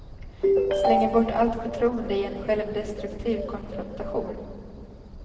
Slänger bort allt förtroende i en självdestruktiv konfrontation.